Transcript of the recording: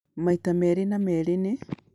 maita merĩ na merĩ nĩ